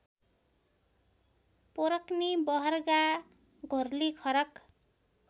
पोरक्नी बहर्गा घोर्लीखरक